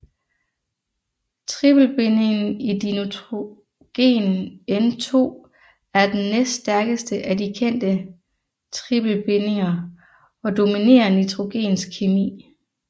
Tripelbindingen i dinitrogen N2 er den næststærkeste af de kendte tripelbindinger og dominerer nitrogens kemi